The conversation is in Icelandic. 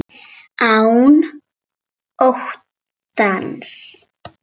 Án óttans.